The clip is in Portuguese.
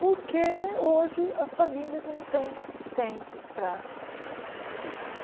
Porque hoje as famílias não têm tempo para os filhos.